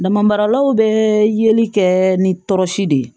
Dama maralaw bɛ yeli kɛ ni tɔɔrɔsi de ye